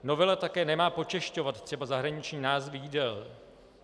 Novela také nemá počešťovat třeba zahraniční názvy jídel.